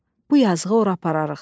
Bu yazıqı ora apararıq.